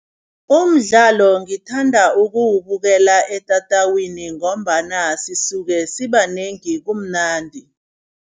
Umdlalo ngithanda ukuwubukela etatawini ngombana sisuke sibanengi, kumnandi.